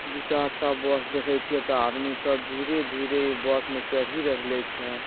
दू चार बस दिखे छे ता आदमी सब धीरे-धीरे ई बस में चढ़ी रहिले छे।